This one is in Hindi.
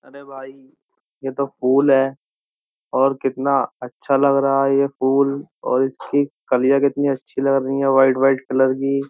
अरे भाई यह तो फूल है और कितना अच्छा लग रहा है यह फूल और इसकी कलियां कितनी अच्छी लग रही है वाइट वाइट कलर की।